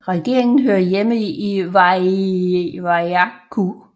Regeringen hører hjemme i Vaiaku på Fongafale